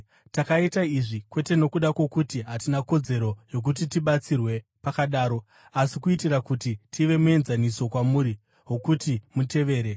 Takaita izvi, kwete nokuda kwokuti hatina kodzero yokuti tibatsirwe pakadaro, asi kuitira kuti tive muenzaniso kwamuri wokuti mutevere.